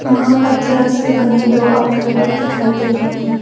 वहां पत्थरों से बने दो आउटलेट भी दिखाई दे रहे हैं।